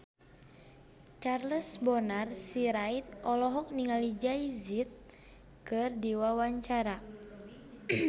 Charles Bonar Sirait olohok ningali Jay Z keur diwawancara